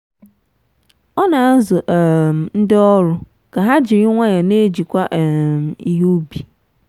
ọ na-azụ um ndị ọrụ ka ha jiri nwayọọ na-ejikwa um ihe ubi.